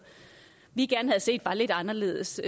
vi gerne set var lidt anderledes